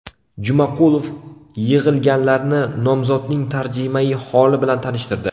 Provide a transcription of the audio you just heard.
Jumaqulov yig‘ilganlarni nomzodning tarjimai holi bilan tanishtirdi.